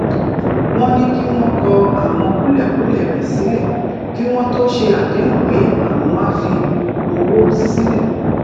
wón ní kí wón kọ àwọn kúlèkúlè rè sílè kí wón tó ṣe àdéhùn pé àwọn á fi owó sílè